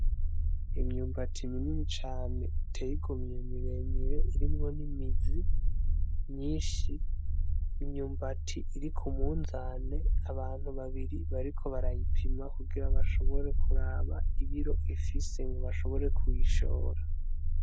Imyumbati minini cane itey'igomwe miremire irimwo n'imizi myinshi, imyubati iri k'umunzane; abantu babiri bariko barayipima kugira bashobore kuraba ibiro ifise bashobore kuyishora.